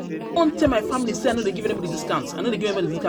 tell my family sey I no dey give anybodi discount. i no dey give anybody discount